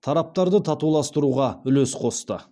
тараптарды татуластыруға үлес қосты